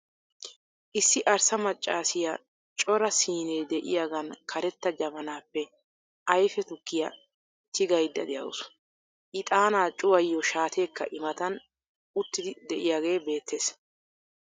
Issi arssa maccassiya cora siinne de'iyagan karetta jabbanaappe ayfe tukkiya tigayda de'awusu. Ixxaanaa cuwayiyo shaateekka I matan uttidi de'iyagee beettees